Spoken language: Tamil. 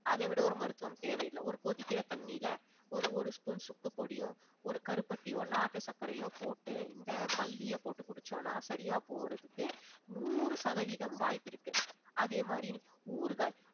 அதைவிட ஒரு மருத்துவம் தேவையில்ல ஒரு கொதிக்கிற தண்ணியில ஒரு ஒரு spoon சுக்குப்பொடியோ ஒரு கருப்பட்டியோ நாட்டு சர்க்கரையோ போட்டு இந்த மல்லிய போட்டு குடிச்சோம்னா சரியா போறதுக்கு நூறு சதவீதம் வாய்ப்பிருக்கு அதே மாதிரி ஊறுகாய்